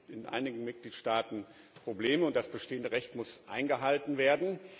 Es gibt in einigen Mitgliedstaaten Probleme, und das bestehende Recht muss eingehalten werden.